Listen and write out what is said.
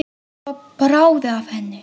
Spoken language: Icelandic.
Svo bráði af henni.